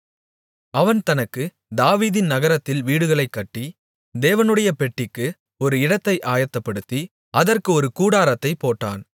அவன் தனக்கு தாவீதின் நகரத்தில் வீடுகளைக் கட்டி தேவனுடைய பெட்டிக்கு ஒரு இடத்தை ஆயத்தப்படுத்தி அதற்கு ஒரு கூடாரத்தைப் போட்டான்